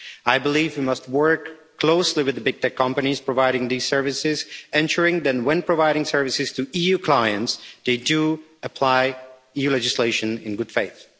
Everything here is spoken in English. I believe we must work closely with the big tech companies providing these services, ensuring that, when providing services to EU clients, they do apply EU legislation in good faith.